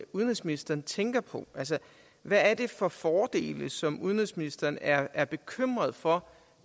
udenrigsministeren tænker på altså hvad er det for fordele som udenrigsministeren er er bekymret for